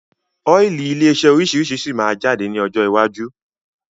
Ọ́ílì ilé iṣẹ́ oríṣiríṣi síí má jáde ní ọjọ́ iwájú